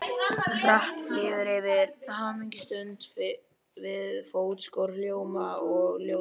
Hratt flýgur yfir hamingjustund við fótskör hljóma og ljóðs.